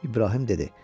İbrahim dedi.